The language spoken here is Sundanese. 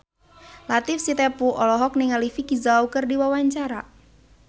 Latief Sitepu olohok ningali Vicki Zao keur diwawancara